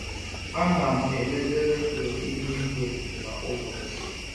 Ana m elele redio ihu igwe kwa ụbọchị.